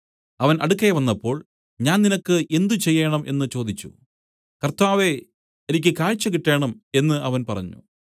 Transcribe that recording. അവൻ അടുക്കെ വന്നപ്പോൾ ഞാൻ നിനക്ക് എന്ത് ചെയ്യേണം എന്നു ചോദിച്ചു കർത്താവേ എനിക്ക് കാഴ്ച കിട്ടേണം എന്നു അവൻ പറഞ്ഞു